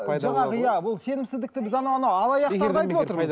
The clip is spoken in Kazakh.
ы жаңағы иә бұл сенімсіздікті біз анау анау алаяқтарды айтып отырмыз